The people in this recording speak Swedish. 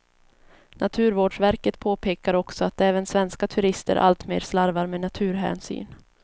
Naturvårdsverket påpekar också att även svenska turister alltmer slarvar med naturhänsyn.